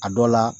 A dɔ la